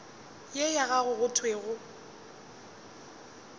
ye ya gago go thwego